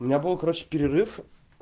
у меня был короче перерыв